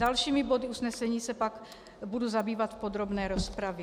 Dalšími body usnesení se pak budu zabývat v podrobné rozpravě.